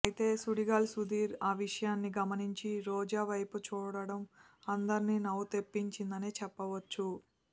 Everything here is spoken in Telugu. అయితే సుడిగాలి సుధీర్ ఆ విషయాన్ని గమనించి రోజా వైపు చూడటం అందరికీ నవ్వు తెప్పించిందనే చెప్పవచ్చు